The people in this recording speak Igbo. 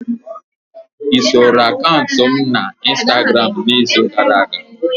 Soro akaụntụ m na Instagramu n'izu gara aga?